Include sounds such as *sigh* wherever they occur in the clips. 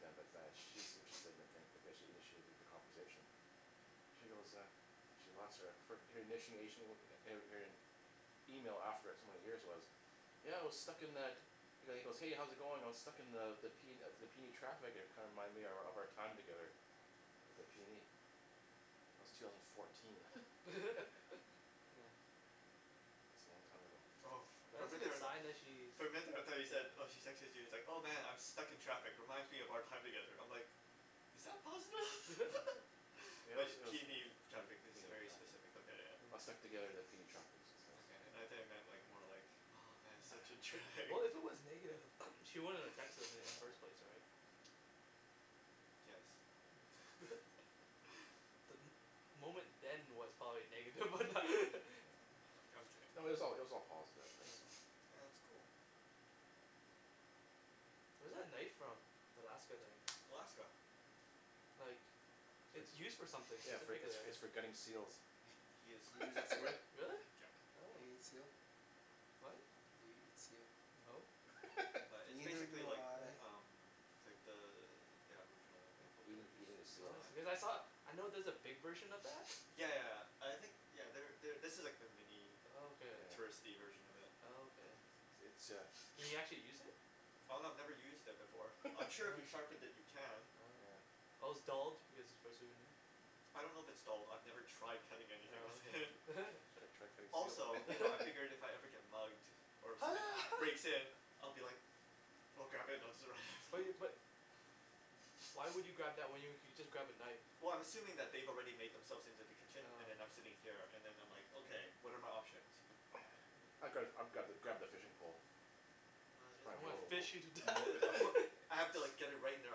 yeah but that she's interested in a thing because she initiated th- the conversation she goes uh She lost her fir- her initiation er er her email after so many years was yeah I was stuck in the He he goes hey how's it going I was stuck in the the the P the PNE traffic and it kinda reminded me of of our time together at the PNE That was two thousand fourteen *laughs* *laughs* yeah It's a long time ago Oh for But for a that's a minute there I good was like sign that she's For a minute there I though you said yeah oh she texted you it's like "oh man I'm stuck in traffic reminds me of our time together" I"m like is that positive? *laughs* yeah *laughs* Yeah it but was it was P PNE traffic that's a PNE very traffic specific look at it. I was stuck yeah together at the PNE traffic she says, okay yeah I though you yeah meant like more like oh man such a *noise* yeah we- drag. well if it was negative *noise* she She wouldn't wouldn't have have texted texted him i- me in in the the first first place place right yes Hmm *laughs* The mo- moment then was probably negative but that *laughs* Oh I'm I'm kidding No it was all it was yeah all positive right yeah so? yeah that's cool Where's that knife from the Alaska thing Alaska like It's It's used for for something yeah its specifically for yeah its for yeah gutting seals He is Do you eat exactly seal? right, *laughs* Really? yup. Oh Do you eat seal? What? Do you eat seal? no *laughs* But it's Neither basically do like I uh-huh umm like the the aboriginal people yeah over there eating use eating the use seals Oh knives because I saw, I know there's a big version of that *noise* *noise* yeah yeah I think you know there there this is the mini Oh okay. yeah touristy version of it Oh okay *noise* It's uh Can you *noise* actually use *noise* it? Oh no I've never used it before, I'm *laughs* sure if you Oh sharpen it you can. Oh okay yeah Oh its dulled because it's for a souvenir I don't know if its dulled I've never tried cutting anything with Oh it *laughs* okay you *laughs* should try cutting seal Also you know I *laughs* figured *laughs* if I ever get mugged or ho somebody ha breaks in *laughs* I'll be like oh God. Bu- you *inaudible* but wh- why would you *noise* *noise* grab that when you you could just grab a knife Well I'm assuming that they've already made themselves into the kitchen and oh then I'm sitting yeah here and them I'm like okay oh what are my options? *noise* Hmm I'd gra- I'd grab grab the fishing pole Oh It's it is I probably wanna pretty more wo- fish you to death more I *laughs* put *laughs* I have to like *noise* get it right in their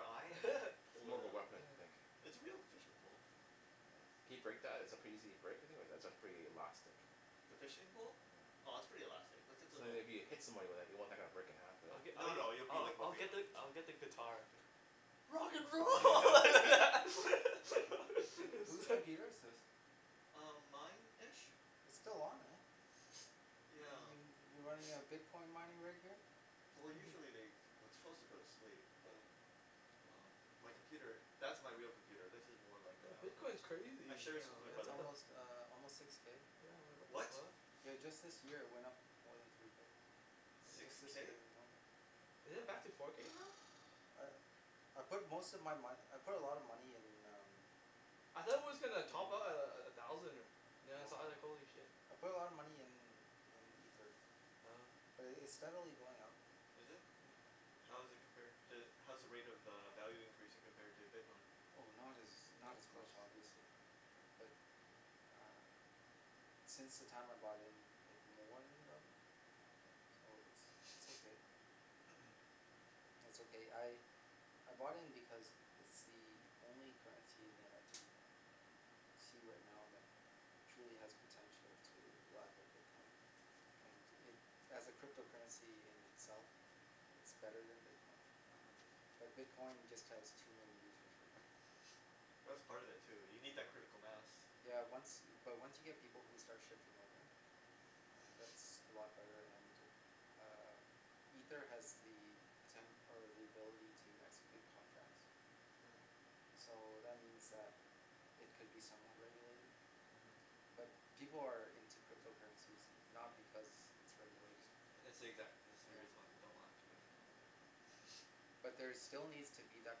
eye and then *laughs* More of a *noise* weapon I think yeah It's a real fishing pole. Yeah can you break that is it pretty easy to break you think or is it pretty elastic The fishing pole? yeah Oh it's pretty elastic, like it's an So that old if Hmm you hit someone with that you don't want that to kinda break in half but I'l- No I'll no you'll I- be I- like I'll whipping get them the I'll Oh get the You'll whip them guitar good Rock and roll *laughs* *laughs* *noise* Who who's computer *laughs* *inaudible* is this? Um mine ish It's still on eh *noise* *noise* yeah y- you running a *noise* *noise* bitcoin mining rig here? Well Hmm hmm usually they it- it's suppose to go to sleep oh but um my yup computer that's my real computer this is more like No uh bitcoin's I crazy share this with my yeah no it's what brother the almost uh almost six k yeah like what the what? fuck yeah just this year it went up more than three k It's six just yeah this k? year alone Is it back to *noise* uh four k now? *noise* I I put most of my mone- I put a lot of money in um I thought it was gonna top Mm out a- a- at a thousand or now I No saw it I was like no holy shit I put a lot of money in in ether Oh okay but it it's steadily going up Is it? yeah yeah *inaudible* How's it compared to how's the rate of uh value increasing compared to bitcoin? Oh not as not not as much close yeah obviously bu- but ah since the time I bought in it more then doubled okay so it's it's okay *noise* *noise* *noise* It's okay I I bought in because it's the only currency that I can see right now that truly has potential to rival bitcoin and oh it, as a crypto currency in itself it's better then bitcoin uh-huh but bitcoin just has too many users right now *noise* *noise* but that's part of it too you need that yeah critical mass yeah once but once you get people who start shifting over uh that's *noise* *noise* a lot better and um ether has the poten- or the ability to execute contracts Hmm so that means that it could be somewhat regulated uh-huh but people are in to crypto currencies no- not because it's regulated It's the exact- That's the yeah reason they don't want it to be Hmm huh *noise* but there still needs to be that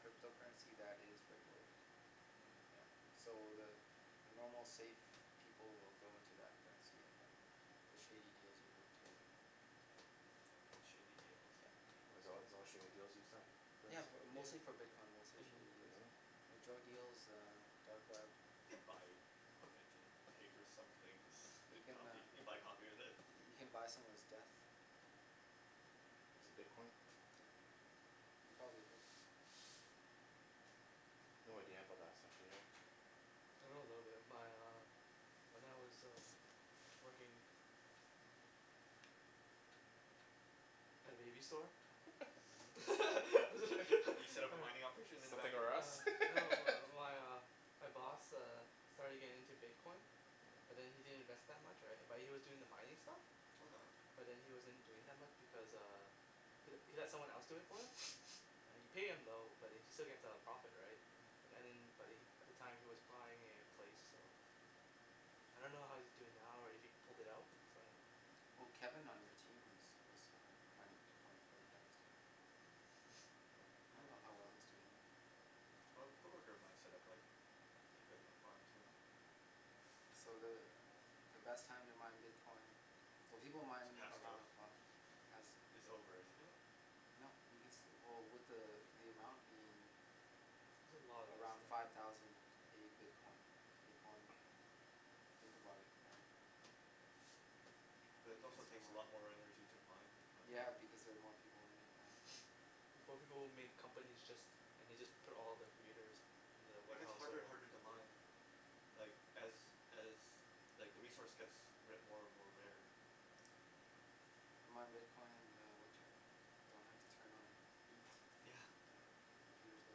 crypto currency that is regulated yeah Hmm so the the normal safe people will go into that currency and then the shady deals will go into the other one Yup shady deals yup why it's all it's all shady deals use that yeah currency? bu- yeah mostly for bitcoin mostly and one shady other deals Really? thing like drug oh deal yeah um dark web You can buy equipment and pay for some things you can coffee you uh can can buy coffee with it you can buy someone's death Using bitcoin? yeah you oh *noise* probably could No idea about that stuff do you know? I know a little bit my uh when I was working at a baby store *laughs* uh-huh You set up a mining *laughs* operation in the back Something room r' Us Uh no *laughs* my my uh my boss uh starting getting into bitcoin but then he didn't invest that much right but he was doing the mining stuff Okay but then he wasn't doing that much because uh he he let someone else do it for him *noise* yeah you pay him though but then he still get a profit right an- uh-huh and then but he at the time was buying a place so yeah I don't know how he's doing now or if he pulled it out so I don't know Well Kevin on your team is was uh mining bitcoin for the longest time Hmm I *noise* don't know how well he's doing oh though Oh a co-worker of mine set-up like a bit of a yeah farm too yeah so the uh the best time to mine bitcoin well people It's mine passed though around the clock Is pass it's oh over isn't it? No you can still well with the uh the amount being There's a lot of us around now five thousand a bitcoin a coin *noise* think about it *noise* right But it you can also still takes yeah, a mine lot more yeah energy to mine one now yeah yeah because they're more people in it now yeah *noise* Before people would made companies just and they just put all the computers yeah in the And it get's warehouse harder and whatever harder to mine like as as like the resource gets ra- more and more uh-huh rarer Hmm you mine bitcoin in the winter don't have to turn on heat yeah yeah computers will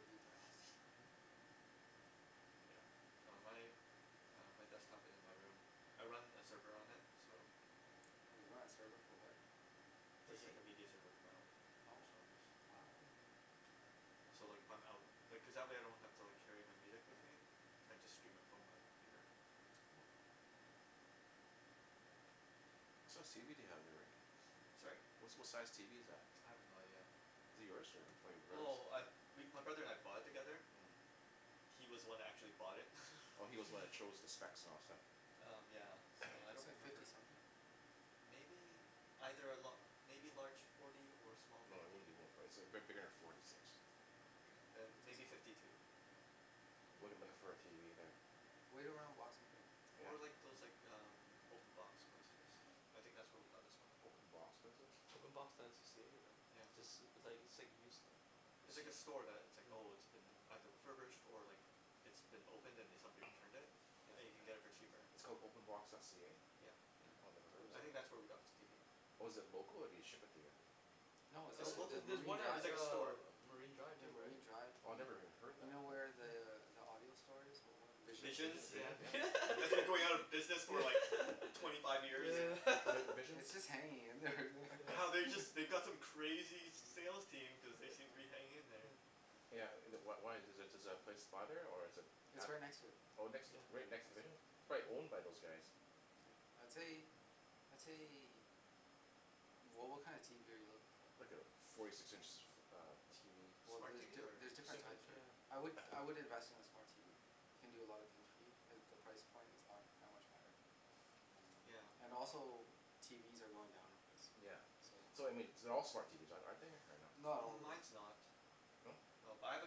heat the house *noise* uh-huh yeah no my uh my desktop is in my room I run a server on it so For a Just like game a media server for my own oh personal use wow Hmm So like if I'm out Like cuz that way I don't have to like carry my music yeah with me. I just stream it from my computer uh-huh it's cool What size tv do you have there Rick? Sorry? Wha- what size tv is that? I have no idea Is it yours or your brother's? Well I we my brother and I bought it together Hmm He was the one who actually bought it *laughs* Oh he's was the one who Hmm chose the specs and all that stuff Um yeah so *noise* I don't looks *noise* like remember fifty something Maybe. Either a la- maybe larger forty or small No it fifty wouldn't be more for- it's big- bigger then forty six Okay yeah then fifty maybe something fifty two yeah I'm looking looking If Hmm for a that then tv there yeah wait around boxing day yeah Or like those like um open box places I think that's where we got this one Open box places? openbox.c- ca right? Yeah yeah It's ju- it's like it's like used stuff It's It's like use- a store that it's like yeah oh it's been either refurbished or like it's been opened and then somebody returned it *noise* *noise* and you yeah can get it for cheaper. It's called openbox.ca? Yeah yeah Oh I never it's a head of I it think website that's where we got this tv. Oh is it local or do they ship it to you? no it's uh It's local there's just local, there's Marine one at it's Drive like a uh store Marine Drive yeah too right Marine Drive Oh I never uh-huh even heard you that know where yeah the uh the audio store is what was it Visions Visions Vision Yeah and *inaudible* Vi- yeah That's been going out of business *laughs* for yeah like twenty five years *laughs* yeah *laughs* yeah Vi- Visions its just hanging in there Wow yeah they just *noise* they've got some *laughs* crazy sales yeah team cuz they seem to be yeah hanging in *laughs* there yeah yeah yeah Yeah uh wh- wh- why is the is the place by there or is it its at right next to it Oh next yeah yeah right right next to next to Vision it It's probably *inaudible* year owned by those guys yeah I'd say Hmm I'd say wha- what kind of tv are you looking for? Like a forty six inch uh tv well Smart tv the- or there's different different types there yeah I would *noise* I would invest in a smart tv it can do a lot of things for you and the price point is not that much higher um yeah and also TVs are going down in price yeah so um so I mean th- their all smart TVs are- aren't they or no? not all of them Mines no not No but I have a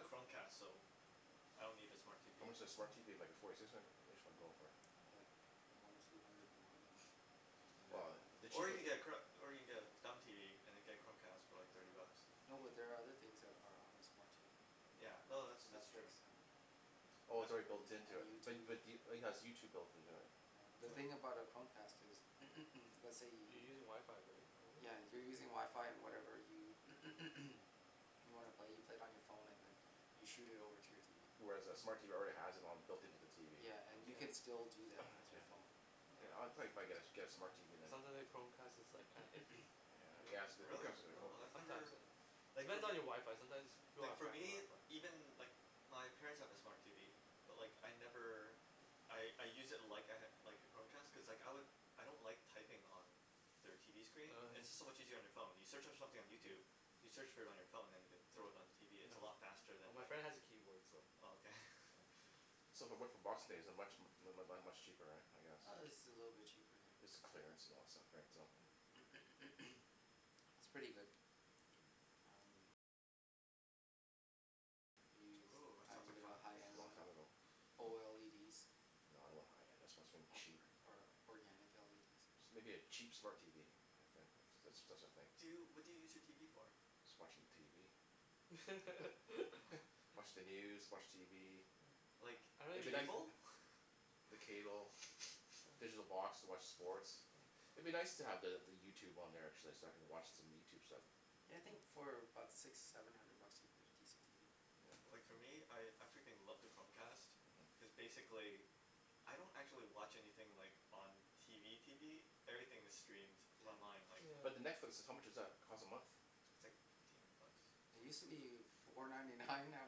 Chromecast so I don't need a smart TV How much does a smart Hmm TV like a forty six in- inch one go for? ah like one or two hundred more than *laughs* an Well actual the Or cheap you of can get a chro- or you can get a dumb TV and then get a Chromecast TV for like thirty bucks no but there are other things that are on a smart TV like Yeah uh no net- that's that's Netflix true and Oh I it's an- already built an- into and it bu- YouTube but do- it has YouTube built into it? yeah, the thing yeah Mm about a Chromecast is *noise* let's say You're you using wifi right over yeah you're using wifi and whatever you *noise* you wanna play you play it on your phone and then you shoot it over to your TV Whereas a smart yeah TV already has it on it built into the TV yeah and you Mm can yeah still do that with *noise* your yeah phone Yeah I I Yeah yeah probably probably get a get a smart *inaudible* TV It then sounds li- like Chromecast is like kinda iffy *noise* Yeah yes the Really? Chromecast is oh Oh I've *inaudible* sometimes never uh It Like fo- depends on your wifi sometimes pe- people Like have for crappy me, wifi even like wh- my parents have a smart TV but like I never I I use it like I ha- like a Chromecast cuz like I lik- I don't like typing on their TV screen oh it's just so yeah Mm much easier on your phone, you search on something on yeah YouTube you search for it on your phone then you can thrown it on yeah your TV its no, a lot faster than well my friend has a keyboard so oh okay yeah so So if I went for boxing day is it much mu- mu- much cheaper right I guess uh it's a little bit cheaper yeah It's clearance and all that stuff right so yeah *noise* *noise* it's pretty good Hmm are you Ooh that trying sounds to like get a fun high end Long one time ago Oh *inaudible* No I don't want high end I want something or cheap or organic LEDs Just maybe a cheap smart TV Yeah if if that's that's a thing Do you, what do you use your TV for? Just watching TV oh *laughs* *laughs* watch the news watch TV oh Like I- I- don't I'd be even nic- use uh it cable? *laughs* the cable *noise* digital oh box to watch sports huh Oh I'd be nice to the the YouTube on there actually so I can watch some YouTube stuff yeah I think for *inaudible* about six seven hundred bucks you can get a decent TV Yeah Like for me I I freaking love the Chromecast uh-huh cuz basically I don't actually watch anything like on TV TV everything is streamed it's yeah online like yeah But the Netflix how much does that cost a month It's like fifteen bucks yeah it use to be *inaudible* four ninety nine *laughs* at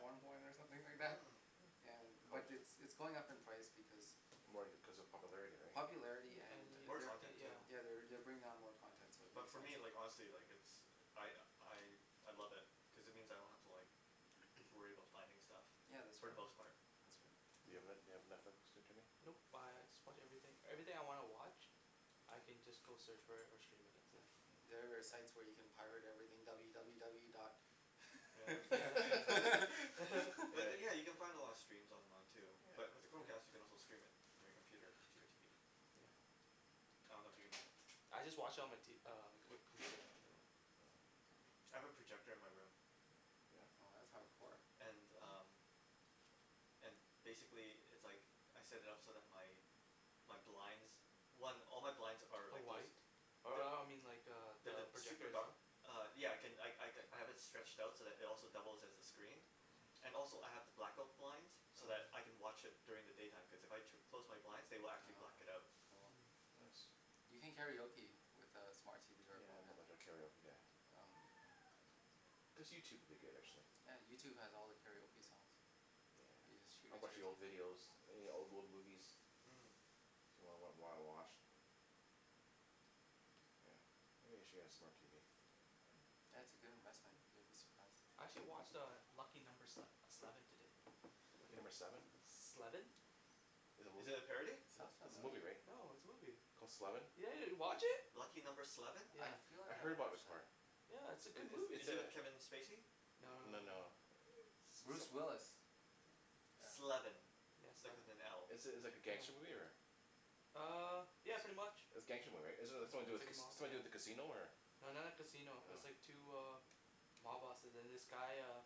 some point or something like that Hmm yeah How but muc- it's it's going up in price because More cuz of popularity right popularity yeah and an- More they're u- content too yeah yeah they're they're bring on more content so it But makes for sense me Hmm like honestly like it's I I I love it cuz it means I yeah don't have to like worry *noise* about finding stuff yeah that's for right the Hmm most part. that's right Do you have Net- do you have Netflix too Jimmy? Nope I I just watch everything, everything I wanna watch I can just go search for it or stream it that's it hmm yeah oh there are site yeah where you can pirate everything w w w dot yeah yeah yeah *laughs* *laughs* But yeah then yeah *laughs* you can find a lot of steams online too but yeah with the yeah Chromecast you can also stream it from your computer to your TV. yeah yeah I don't know if you can I just watch on my t- uh on my com- computer anyways Mm yeah I have a projector in my room. yeah oh that's hardcore and um and basically it's like I set it up so that my my blinds one all my blinds are are like those white uh they- uh I mean like They're the the project super dark itself Uh yeah I can I I have it stretched out so it also doubles as a screen Mmm and also I have the black-out blinds oh so yeah that I can watch it during the daytime cause if I tu- close my blinds they will actually oh black it out cool Hmm nice you can karaoke with uh smart TV or Yeah not Chromecast much of a karaoke guy oh Hmm okay Just YouTube would be good actually yeah YouTube has all the karaoke songs you just Yeah shoot I'll it to watch your the old TV videos any old old movies yeah Hmm If you wanna wa- wa- watch Yeah maybe I should get a smart TV yeah it's a good investment you'll be surprised I actually watch uh Lucky Number Sle- Sleven today Lucky Number Seven? Sleven Is it a Is it movie? a parody? sounds It's it's a movie familiar right? No it's a movie Called Sleven yeah yeah you watch it? Lucky Number Sleven? I yeah feel I like heard I've about it watched that before Yeah it's a It good it it's movie Is it a with Kevin Spacey? no No no no no Bruce some- Willis yeah Sleven, yeah like sleven with an L. It's it's like a gangster yeah movie or? ah uh yeah pretty much It's gangster movie right it it's something to yeah do it's with like ca- a it's mob something to do yeah with a casino or? no not like casino its Oh like two uh mob bosses and this guy uh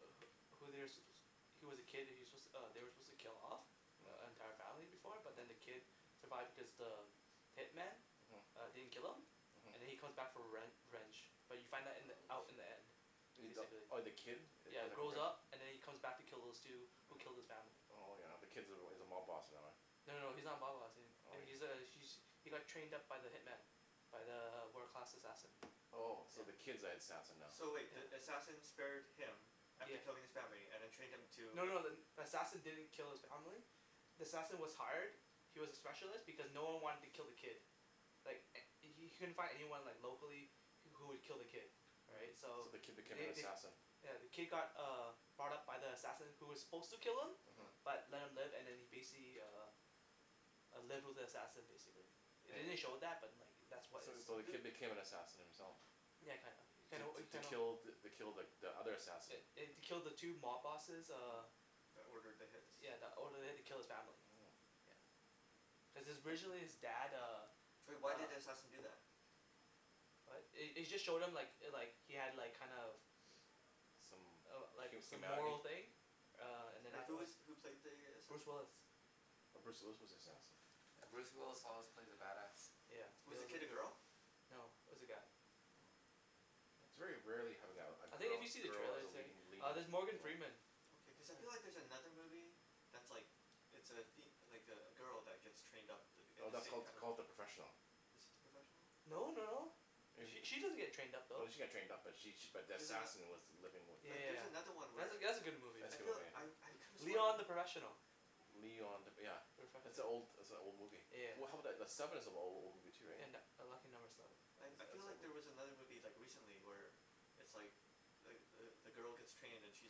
wh- who they're su- suppo- he's was a kid he was su- they were suppose to kill off the Hm entire family before but then the uh-huh kid survived because the hitman uh-huh didn't kill him and then uh-huh he come back for rev- revenge but you find that in the oh out in shit the end uh the basically oh the kid it yeah comes back grows around up and then he comes back to kill those two who killed his family Oh yeah the kid's- is a mob boss and all yeah no no no he's not a mob boss a- oh he's a *noise* he he got trained up by the hitman by the wo- world class assassin Oh so the yeah kid's the assassin now? So wait the yeah assassin spared him after yeah killing his family and then trained him to No no the- then the assassin didn't kill his family the assassin was hired he was a specialist because no one wanted to kill the kid like h- he couldn't find anyone like locally wh- who would kill the kid right right so So the kid became an they they assassin yeah the kid got uh brought up by the assassin who was suppose to kill him uh-huh uh-huh but left him live and then he basically uh uh lived with the assassin basically the- they didn't It show oh that but like that was So is so the who kid became an sup- assassin himself yeah kinda, you kinda To you to kinda kill the kill the the other assassin eh eh to kill the two mob bosses uh uh-huh That ordered the hits yeah that ordered the hit to kill his family Mmm yeah cuz his originally his dad uh But why did uh the assassin do that? what it- it just showed him like like he had like kind of Some uh like hu- some humanity moral thing uh and then But who afterward is who played the Bruce assassin? Willis Oh Bruce Willis was the yeah assassin yeah Bruce Willis always plays a bad ass yeah he Was the al- kid a girl? , no it was a guy yeah oh Hmm yeah It's very rarely having a a I think if girl you see the girl as trailer a say leading leading there's role Morgan Freeman Okay cause I feel yeah like there's another movie that's like It's a fem- like a a girl that get's trained up th- in No the that's same called kinda called The Professional Is it The Professional? no no no It She wa- she doesn't get trained up No though she got trained up but she she but the She's an assassin was the living with yea- the Like there's yea- another one yeah where that that's a good movie That's I a good feel movie I I though could've sworn Leon The Professional Leon The yeah That's an old *inaudible* that's a old movie yeah Well how I about the the Sleven is an a- old movie too right and a Lucky Number Sleven That's I I that's feel like old there was mov- another movie like recently where it's like like the the girl gets trained and she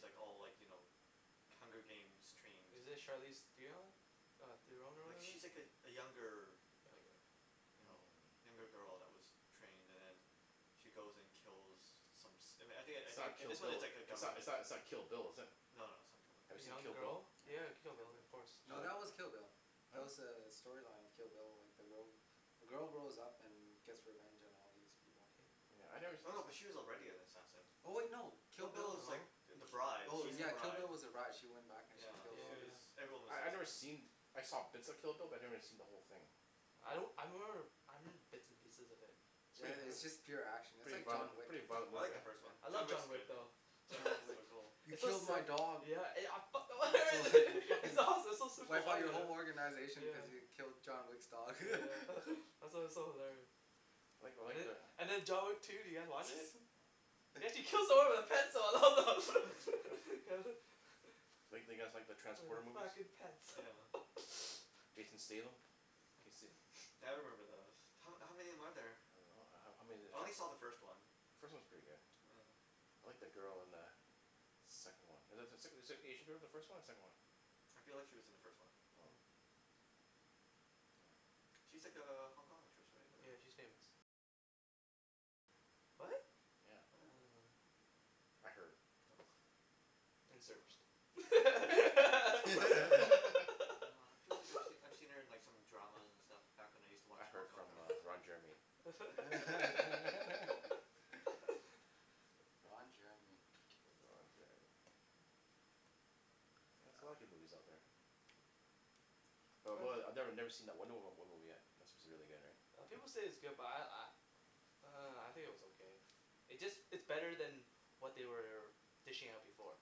like all like you know Hunger Games trained Is it Charlize Theon? mm Theron or like whatever? she's like a younger like you know younger Hmm girl that was trained and then she goes and kills some som- I thin- I It's not think Kill this one its Bill like a it's not government it's not Kill Bill is it? no no it's not Kill Bill Have A you seen young Kill Bill girl? Yeah you have a Kill Bill of course Did you No like it? that was Kill Bill huh? That's was uh the storyline of Kill Bill like the girl the girl grows up and gets revenge on all these people Yeah I nev- us- no no but us- she was already an assassin Oh no Kill Kill Bill Bill was like No th- Ki- the bride oh she's the yeah yeah Kill bride Bill was the brige she went back and she yeah yeah killed she all these was yeah yeah everyone was I I've never seen *inaudible* I saw bits of Kill Bill but I never seen the whole thing I don't Hmm I remember I remember bits and pieces of it It's yeah prett- it- its yeah just uh pure action it's Pretty like violent John mo- yeah Wick pretty violent I movie like the yeah. hey first one I John love yeah, Wick's John Wick good though yeah John Wick is John Wick so cool *laughs* he It's so killed my sil- dog yeah I I fuck- *laughs* *inaudible* fucken it's awesome it's so super wipe out your violent whole organization because yeah you Hmm killed John Wick's dog yeah *laughs* *laughs* it's it's so hilarious I like I and like the- the and then John Wick two did you guys watch it? He actually yeah kills someone with a pencil *laughs* oh *laughs* Do you like do you guys like the wear Transporter the movies fucking pants yeah *laughs* Jason Statham can yo- se- Yeah I remember *noise* those, ho- how many are there? I don't know ho- how many of I the only trans- saw the first one The first one's pretty good Yeah I like the girl in the second one Is is the sec- is the Asian girl in the first one or the second one I feel like she was in the first one Oh Hmm yeah She's like a Hong Kong actress right Yeah or she's famous what? yeah Yeah? I didn't know that I heard Oh and Oh searched *laughs* *laughs* *laughs* No *laughs* I feel like I I've seen her in some dramas and stuff back when I use to watch I Hong heard Kong from uh dramas Ron *laughs* Jeremy *laughs* *laughs* Ron Jeremy Ron Jeremy Yeah there's a lot yeah of good movies out there But depends I I never never seen that Wonder Woma- Woman movie yet that's suppose to be really good right uh people say its good but I I uh I think it was okay It's just it's better then what they were dishing out before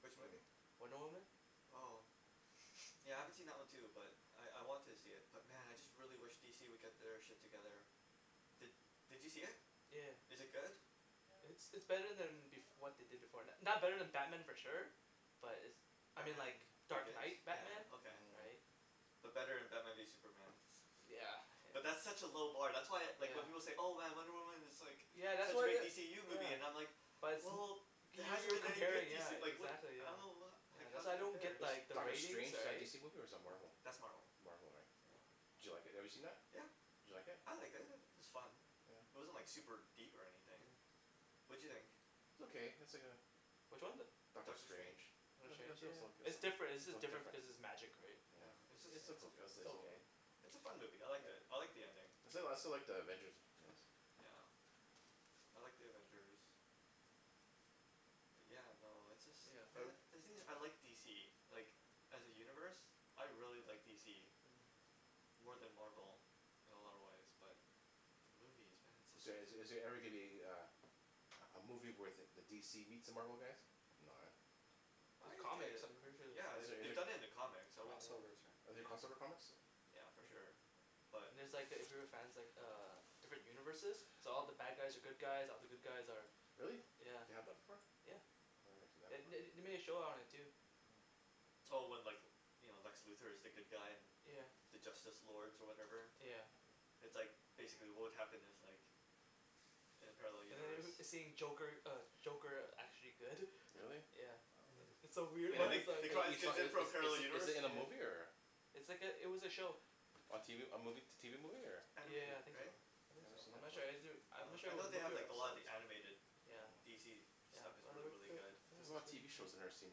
Which Hmm movie? Wonder Woman Oh Yeah I haven't seen that one too but I I want to see it but man I really wish DC would get their shit together Did did you see it? yea- yeah Is it good? It's it's better then bef- what they did before, it's not better then Batman for sure But it's I mean Batman like Dark Begins? Night Batman Yeah okay. Hmm right But better than maybe Superman yeah But that's yeah such a low bar that's why like when yeah people say "Oh man Wonder Woman is like Yeah that's such a what great wha- DCU movie" yeah I'm like But Wel- it's- well there You- hasn't you're been any good comparing yeah DC like what the exactly I don't yeah know ho- Yeah that's how's why it I don't get compares Is like the Doctor ratings Strange is that a right DC movie or is that Marvel That's Marvel Marvel right yeah Yeah Did you like it have you seen that? yeah Did you like it? I liked it i- it was fun yeah It wasn't like super deep or anything yeah What'd you think? It's okay it's like a which one the Doctor Doctor Strange Strange it Doctor was it Strange was yeah oka- it it's different it's jus- was different different because its magic right Yeah yeah it's just it's it's a *inaudible* *inaudible* It's a fun movie, I liked it, I like the ending. I still like I still like The Avengers ones Yeah I like The Avengers Yeah no it's just yeah uh man the thing is I like DC like as a universe I really like DC Hmm more then Marvel in a lot of way but the movies man Is there they're just so is good there every gonna be a a a a movie where the DC meets the Marvel guys no eh I There's like comics it, I'm pretty sure there's yeah Is the- comic there they any- done it in the comics I cross wouldn't yeah overs right Are there yeah cross over comics yeah for yeah sure but And there's like if you were fans like uh different universes so all the bad guys are good guys, all the good guys are Really yeah, they have the before yeah Oh I never seen that The- part they they made a show on it too Hmm Oh when like you know Lex Luthor is the good guy and yeah the Justice Lords or whatever yeah It's like basically what would happen if like in a parallel And universe the- then seeing Joker uh Joker actually good Really? *laughs* yeah Hmm wow It's so and weird *laughs* then In they its they like call these is kids in is from a parallel is is universe it in a yeah movie or It's like it- it was a show A tv a movie t- tv movie or Yeah Animated yeah I think so right? I I think never so seen I'm that not before sure I'm Oh not sure I if it know was they a have movie or an like a lot of episode the animated yeah Hmm DC yeah stuff is well really they really they were good There's a it was lot of good tv shows I never seen